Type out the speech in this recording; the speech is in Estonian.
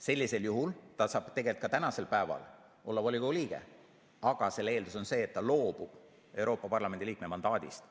Sellisel juhul ta saab tegelikult ka praegu olla volikogu liige, aga selle eeldus on see, et ta loobub Euroopa Parlamendi liikme mandaadist.